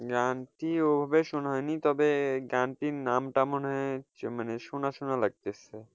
গানটি ওভাবে শোনা হয়নি, তবে গানটির নামটা মনে হয় মানে শোনা শোনা লাগতেছে।